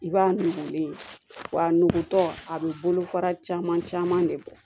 I b'a nugulen ye wa a nugutɔ a bɛ bolo fara caman caman de bɔ